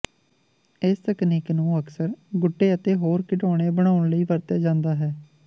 ਇਸ ਤਕਨੀਕ ਨੂੰ ਅਕਸਰ ਗੁੱਡੇ ਅਤੇ ਹੋਰ ਖਿਡੌਣੇ ਬਣਾਉਣ ਲਈ ਵਰਤਿਆ ਜਾਂਦਾ ਹੈ